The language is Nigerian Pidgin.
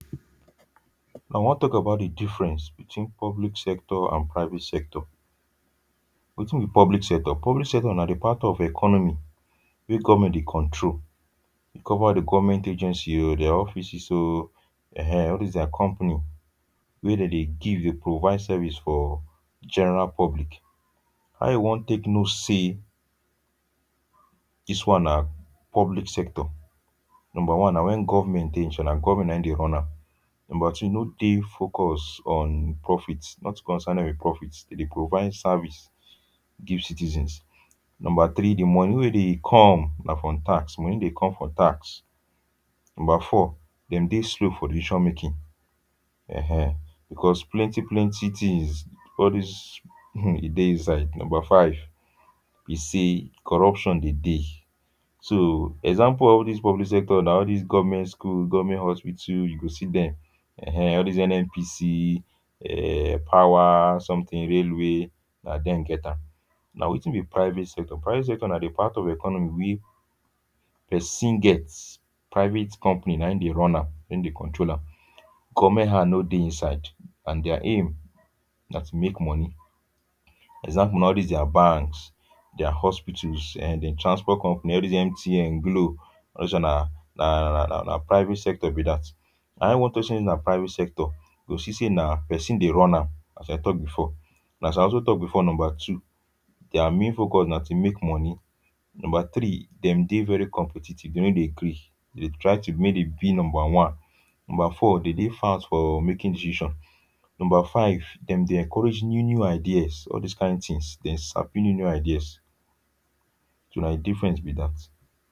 I wan talk about the difference between public sector and private sector. Wetin be public sector? Public sector na di part of economy wey government dey control. cover di government agency o, their offices o, um; all this their company wey dey dey give, dey provide service for general public. How you wan take know say dis one na public sector. Number one, na when government dey, government na im dey run am. Number two, no dey focused on profits. Nothing concern dem with profits. Them dey provide service give citizens. Number three, di money wey dey come na from tax. Money dey come from tax. Number four, dem dey slow for decision-making, eh eh, because plenty plenty tins; all this um, e dey inside. Number five, be say corruption dey dey. So, example of all this public sector na all these government school, government hospital, you go see dem, um. All these N N P C um power something luwe luwe, na dem get am.[um] Na wetin be private sector? Private sector na di part of di economy wey pesin get private company. Na im dey run am, na im dey control am; government hand no dey inside, and their aim na to make money. Example na all this their banks, their hospitals um, dem transport company, all these M T N, Glo. All dis one na na na na private sector be that. Na how you wan take say na private sector? You go see say na person dey run am as I talk before. na as I also talk before, number two, their main focus na to make money. Number three, dem dey very competitive, dem no dey gree. Dem dey try to make dem be number one. Number four, dem dey fast for making desision. Number five, dem dey encourage new new ideas; all this kain tins. Dem sabi new new ideas. So, na di difference be that.